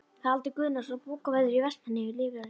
Haraldur Guðnason, bókavörður í Vestmannaeyjum, rifjar upp